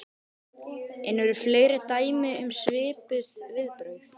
En eru fleiri dæmi um svipuð viðbrögð?